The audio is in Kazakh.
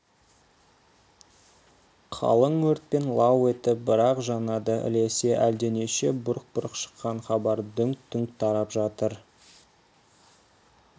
қалың өртпен лау етіп бір-ақ жанады ілесе әлденеше бұрқ-бұрқ шыққан хабар дүңк-дүңк тарап жатыр